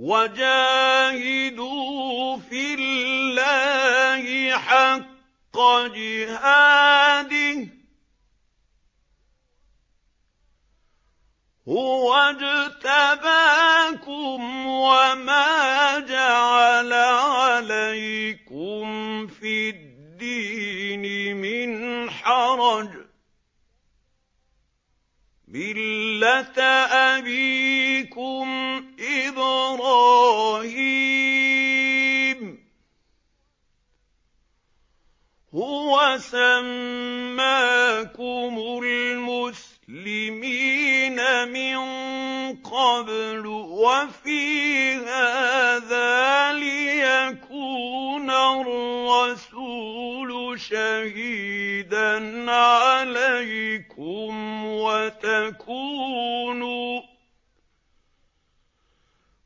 وَجَاهِدُوا فِي اللَّهِ حَقَّ جِهَادِهِ ۚ هُوَ اجْتَبَاكُمْ وَمَا جَعَلَ عَلَيْكُمْ فِي الدِّينِ مِنْ حَرَجٍ ۚ مِّلَّةَ أَبِيكُمْ إِبْرَاهِيمَ ۚ هُوَ سَمَّاكُمُ الْمُسْلِمِينَ مِن قَبْلُ وَفِي هَٰذَا لِيَكُونَ الرَّسُولُ شَهِيدًا عَلَيْكُمْ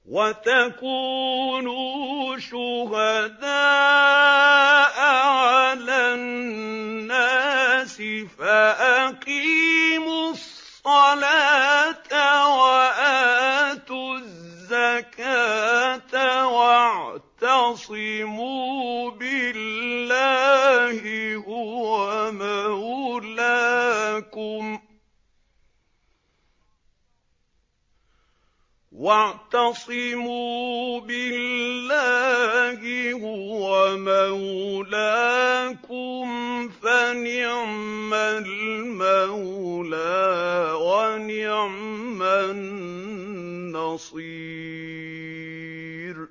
وَتَكُونُوا شُهَدَاءَ عَلَى النَّاسِ ۚ فَأَقِيمُوا الصَّلَاةَ وَآتُوا الزَّكَاةَ وَاعْتَصِمُوا بِاللَّهِ هُوَ مَوْلَاكُمْ ۖ فَنِعْمَ الْمَوْلَىٰ وَنِعْمَ النَّصِيرُ